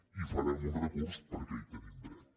i hi farem un recurs perquè hi tenim dret